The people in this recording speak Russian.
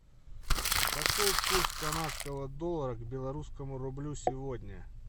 какой курс канадского доллара к белорусскому рублю сегодня